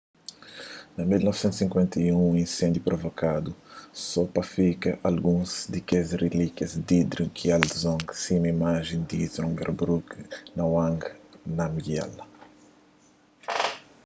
na 1951 un inséndiu provokadu so pa fika alguns di kes relíkias di drukgyal dzong sima imajen di zhabdrung ngawang namgyal